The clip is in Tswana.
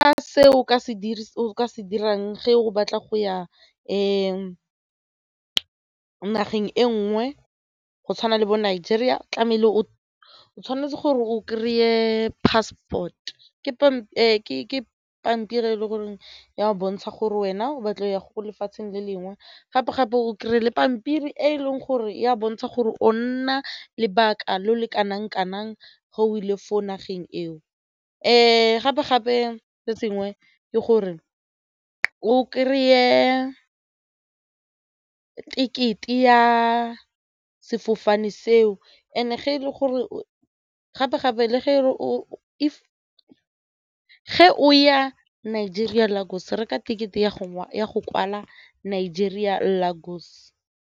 Ka se o ka se dirang ge o batla go ya ka nageng e nngwe go tshwana le bo-Nigeria tlamehile o o tshwanetse gore o kry-e passport ke pampiri e le goreng e a bontsha gore wena o batla go ya go lefatsheng le lengwe gape-gape o kry-e le pampiri e e leng gore ya bontsha gore o nna lebaka le le kanang kanang gore o ile fo nageng eo gape-gape le tsenngwe ke gore o kry-e ticket-e ya sefofane seo and ge e le gore o gape-gape ge e le gore o ya Nigeria Lagos reka ticket-e ya go ya go kwala Nigeria Lagos.